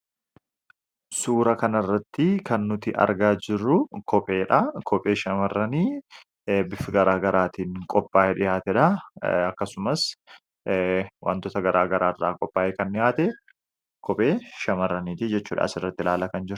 Suura kana irratti kan nuti argaa jiru kopheedha. Kophee shamarranii bifa garaa garagaraaatiin qophaa'e dhihaateedha. Akkasumas wantoota garaa garaarraa qophaa'e kan dhihaate kophee shamarraniiti jechuudha .Asirratti ilaala kan jiru.